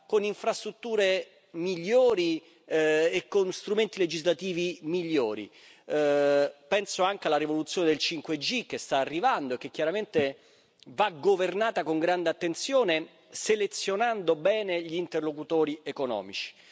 con infrastrutture migliori e con strumenti legislativi migliori penso anche alla rivoluzione del 5G, che sta arrivando e che chiaramente va governata con grande attenzione, selezionando bene gli interlocutori economici.